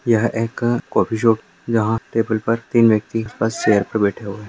यह एक-अ coffee shop यहाँ टेबल पर तीन व्यक्ती बस चेयर पे बैठे हुए हैं।